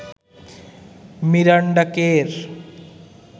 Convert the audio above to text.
Miranda কের